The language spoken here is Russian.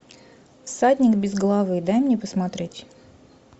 всадник без головы дай мне посмотреть